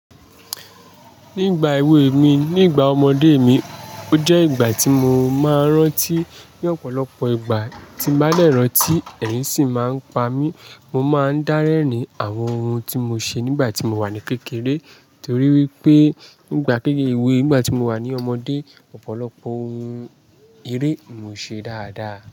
Nígbà èwe mi, nígbà ọmọdé mi, o jẹ́ ìgbà tí mo máa ń rántí ní ọ̀pọ̀lọpọ̀ ìgbà tí n bàá dẹ́ ràn tí ẹ̀rín sì máa ń pa mí. Mo máa ń dárẹ́ni àwọn ohun tí mo ṣe nígbà tí mo wà ní kékeré torí wípé nígbà kéré ewé, nígbà tí mo wà ní ọmọdé, ọ̀pọ̀lọpọ̀ ohun eré ni mò ṣe dáadáa.